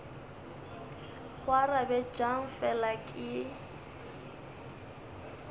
go arabe bjang fela ke